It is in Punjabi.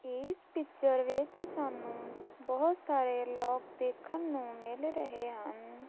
ਇਸ ਪਿੱਚਰ ਵਿੱਚ ਸਾਨੂੰ ਬਹੁਤ ਸਾਰੇ ਲੋਕ ਦੇਖਣ ਨੂੰ ਮਿਲ ਰਹੇ ਹਨ।